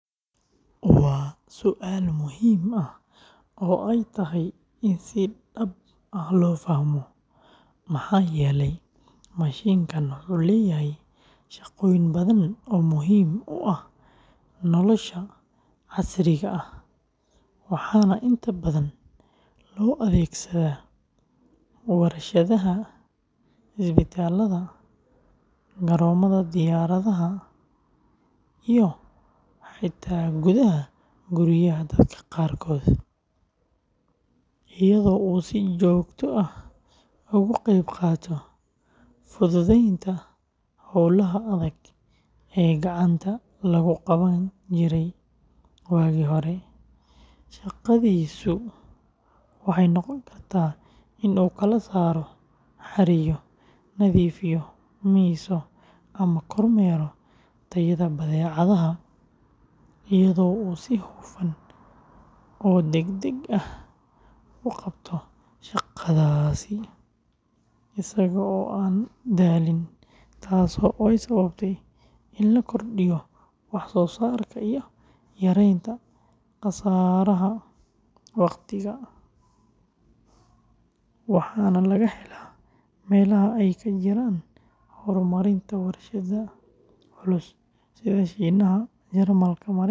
Waa su’aal muhiim ah oo ay tahay in si dhab ah loo fahmo, maxaa yeelay mashiinkan wuxuu leeyahay shaqooyin badan oo muhiim u ah nolosha casriga ah, waxaana inta badan loo adeegsadaa warshadaha, isbitaallada, garoomada diyaaradaha, iyo xitaa gudaha guryaha dadka qaarkood, iyadoo uu si joogto ah uga qeyb qaato fududeynta howlaha adag ee gacanta lagu qaban jiray waagii hore; shaqadiisu waxay noqon kartaa in uu kala saaro, xareeyo, nadiifiyo, miiso, ama kormeero tayada badeecadaha, iyadoo uu si hufan oo degdeg ah u qabto shaqadaas isaga oo aan daalin, taas oo sababtay in la kordhiyo wax soo saarka iyo yareynta khasaaraha waqtiga, waxaana laga helaa meelaha ay ka jiraan horumarinta warshadaha culus sida Shiinaha, Jarmalka, Mareykanka.